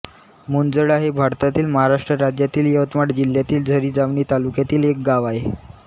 मुंजळा हे भारतातील महाराष्ट्र राज्यातील यवतमाळ जिल्ह्यातील झरी जामणी तालुक्यातील एक गाव आहे